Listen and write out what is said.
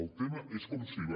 el tema és com s’hi va